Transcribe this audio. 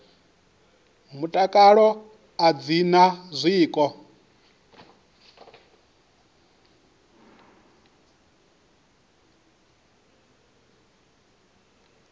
mutakalo a dzi na zwiko